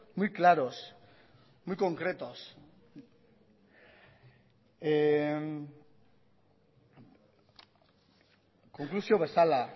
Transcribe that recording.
muy claros muy concretos konklusio bezala